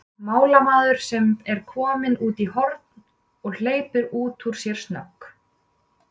málamaður sem er kominn út í horn, og hleypir út úr sér snögg